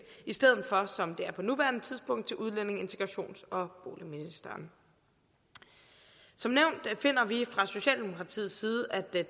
i stedet for som det er på nuværende tidspunkt til udlændinge integrations og boligministeren som nævnt finder vi fra socialdemokratiets side at det er